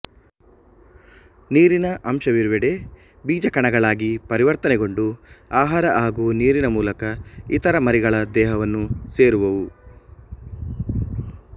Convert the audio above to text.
ನೀರಿನ ಅಂಶವಿರುವೆಡೆ ಬೀಜಕಣಗಳಾಗಿ ಪರಿವರ್ತನೆಗೊಂಡು ಆಹಾರ ಹಾಗೂ ನೀರಿನ ಮೂಲಕ ಇತರ ಮರಿಗಳ ದೇಹವನ್ನು ಸೇರುವುವು